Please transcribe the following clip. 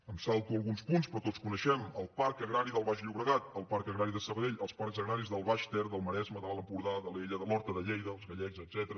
em salto alguns punts però tots coneixem el parc agrari del baix llobregat el parc agrari de sabadell els parcs agraris del baix ter del maresme de l’alt empordà d’alella de l’horta de lleida els gallecs etcètera